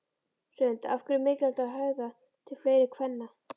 Hrund: Af hverju er mikilvægt að höfða til fleiri kvenna?